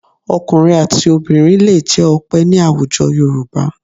Ọkùnrin àti obìnrin lè jẹ́ Ọpẹ́ ní àwùjọ Yorùbá